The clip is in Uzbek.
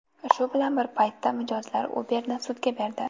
Shu bilan bir paytda mijozlar Uber’ni sudga berdi.